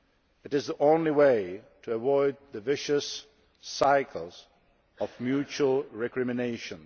That is the only way to avoid a vicious cycle of mutual recrimination.